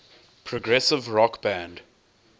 progressive rock band